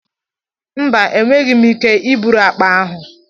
Mba, enweghị m ike iburu akpa ahụ.